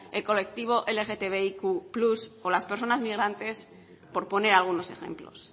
el colectivo lgtb más o las personas migrantes por poner algunos ejemplos